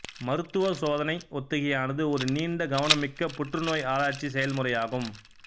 மருத்துவ சோதனை ஒத்திகையானது ஒரு நீண்ட கவனமிக்க புற்றுநோய் ஆராய்ச்சி செயல்முறை ஆகும்